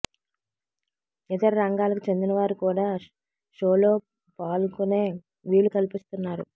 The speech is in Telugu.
ఇతర రంగాలకు చెందినవారు కూడా షోలో పాల్గొనే వీలు కల్పిస్తున్నారు